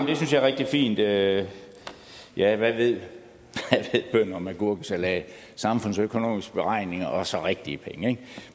er rigtig fint ja ja hvad ved bønder om agurkesalat samfundsøkonomiske beregninger og så rigtige penge